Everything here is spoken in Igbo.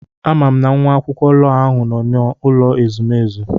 Ama m nwa akwụkwọ lọọ ahụ nọ na n'ụlọ ezumezu.